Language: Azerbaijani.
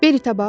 Beritə bax!